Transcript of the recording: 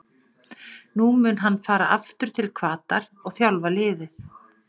Nú mun hann fara aftur til Hvatar og þjálfa liðið.